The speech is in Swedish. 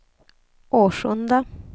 Årsunda